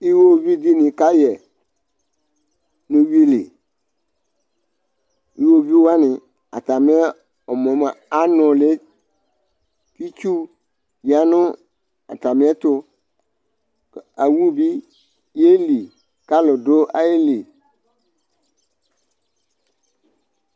iwɔviʋ dini kayɛ nʋ ʋwili ,iwɔviʋ wani ɛmɔɛ mʋa anʋli, itsʋ yanʋ atami ɛtʋ, awʋ bi yɛli kʋ alʋ dʋ ayili